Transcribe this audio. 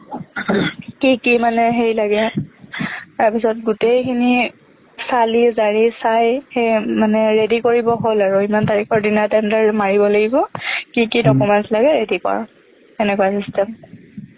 কি কি মানে হেৰি লাগে তাৰপিছত গোটেইখিনি চালি জাৰি চাই সেই মানে ready কৰিব হ'ল আৰু ইমান তাৰিখৰ দিনা tender মাৰিব লাগিব কি কি documents লাগে ready কৰ সেনেকুৱা system